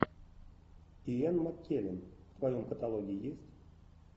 иэн маккеллен в твоем каталоге есть